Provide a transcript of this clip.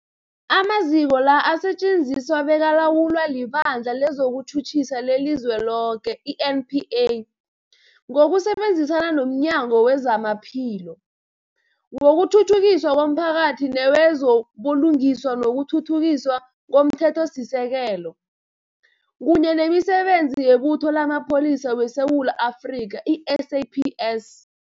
Amaziko la asetjenziswa bekalawulwa liBandla lezokuTjhutjhisa leliZweloke, i-NPA, ngokusebenzisana nomnyango wezamaPhilo, wokuthuthukiswa komphakathi newezo buLungiswa nokuThuthukiswa komThethosisekelo, kunye nemiSebenzi yeButho lamaPholisa weSewula Afrika, i-SAPS.